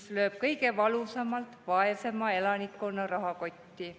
See lööb kõige valusamalt vaesema elanikkonna rahakoti pihta.